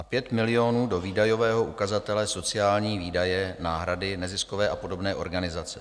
Dále 5 milionů do výdajového ukazatele sociální výdaje - náhrady, neziskové a podobné organizace.